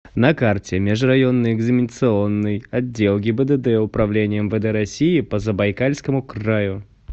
на карте межрайонный экзаменационный отдел гибдд управления мвд россии по забайкальскому краю